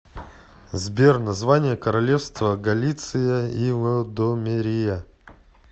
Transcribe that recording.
сбер название королевство галиция и лодомерия